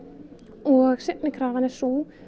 og seinni krafan er sú